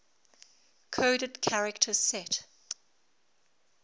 coded character set